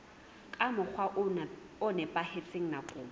ka mokgwa o nepahetseng nakong